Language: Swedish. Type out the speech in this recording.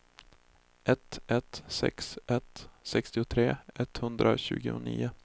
ett ett sex ett sextiotre etthundratjugonio